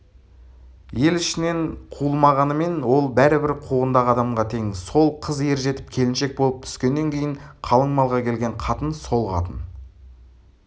ел ішінен қуылмағанымен ол бәрібір қуғындағы адамға тең сол қыз ержетіп келіншек болып түскеннен кейін қалың малға келген қатын сол қатын